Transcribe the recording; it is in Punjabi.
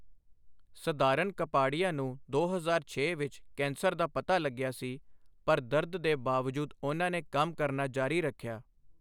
ਸਧਾਰਨ ਕਪਾਡੀਆ ਨੂੰ ਦੋ ਹਜ਼ਾਰ ਛੇ ਵਿੱਚ ਕੈਂਸਰ ਦਾ ਪਤਾ ਲੱਗਿਆ ਸੀ, ਪਰ ਦਰਦ ਦੇ ਬਾਵਜੂਦ ਉਨ੍ਹਾਂ ਨੇ ਕੰਮ ਕਰਨਾ ਜਾਰੀ ਰੱਖਿਆ।